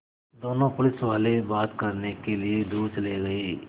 दोनों पुलिसवाले बात करने के लिए दूर चले गए